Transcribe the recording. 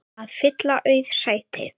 að fylla auð sæti.